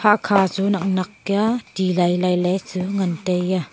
hahkha chu nak nak kya ti lai lai chu ngan taiya.